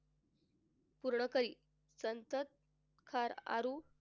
पूर्ण करी संत कार आरु,